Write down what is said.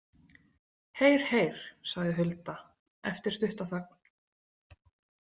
Heyr, heyr, sagði Hulda eftir stutta þögn.